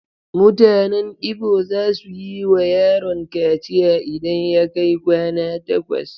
Mutanen Igbo za su yi wa yaron kaciya idan ya kai kwana takwas.